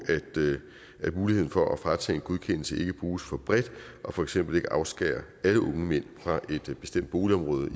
at muligheden for at fratage en godkendelse ikke bruges for bredt og for eksempel ikke afskærer alle unge mænd fra et bestemt boligområde